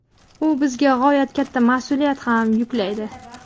u bizga g‘oyat katta mas’uliyat ham yuklaydi.